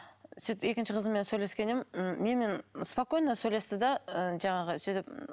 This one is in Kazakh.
сөйтіп екінші қызыммен сөйлескен едім м менімен спокойно сөйлесті де ы жаңағы сөйтіп